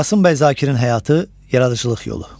Qasım Bəy Zakirin həyatı, yaradıcılıq yolu.